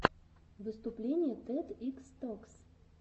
выступление тед икс токс